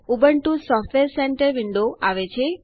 Ubuntu software centre window આવે છે